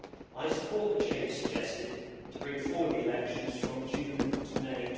I support the change suggested to bring forward the elections from June to May